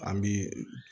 An bi